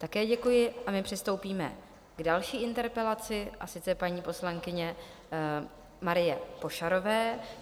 Také děkuji a my přistoupíme k další interpelaci, a sice paní poslankyně Marie Pošarové.